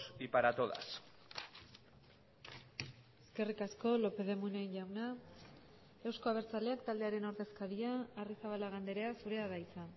y para todas eskerrik asko lópez de munain jauna euzko abertzaleak taldearen ordezkaria arrizabalaga andrea zurea da hitza